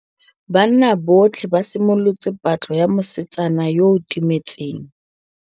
Banna botlhê ba simolotse patlô ya mosetsana yo o timetseng.